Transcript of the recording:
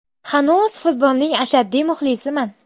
Hanuz futbolning ashaddiy muxlisiman.